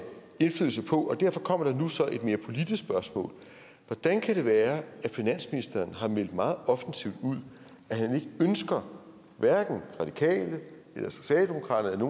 indflydelse på og derfor kommer der så nu et mere politisk spørgsmål hvordan kan det være at finansministeren har meldt meget offensivt ud at han ikke ønsker hverken radikale eller socialdemokraterne